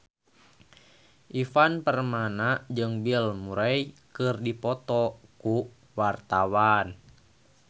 Ivan Permana jeung Bill Murray keur dipoto ku wartawan